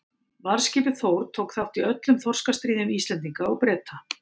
Varðskipið Þór tók þátt í öllum þorskastríðum Íslendinga og Breta.